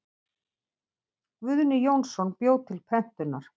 Guðni Jónsson bjó til prentunar.